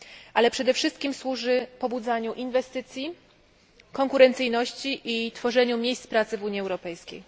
ale przede wszystkim pobudzaniu inwestycji, konkurencyjności i tworzeniu miejsc pracy w Unii Europejskiej.